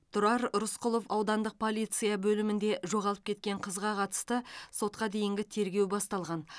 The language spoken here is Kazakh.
тұрар рысқұлов аудандық полиция бөлімінде жоғалып кеткен қызға қатысты сотқа дейінгі тергеу басталған